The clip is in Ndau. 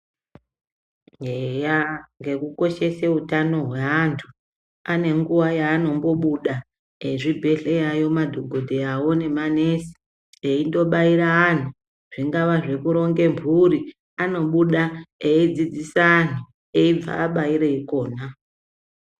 Eya nge kukoshese utano hweantu ane nguwa yanombobuda ezvibhehleya madhogodheyawo nemanesi eindobhaira antu zvingaa zvekuronge mpuri anobuda eidzidzise antu aibva abaiire ikona.